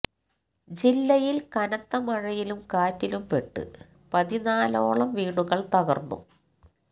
ജില്ലയില് കനത്ത മഴയിലും കാറ്റിലും പെട്ട് പതിനാലോളം വീടുകള് തകര്ന്നു